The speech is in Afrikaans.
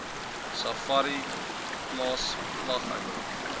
safari plase vlieghengel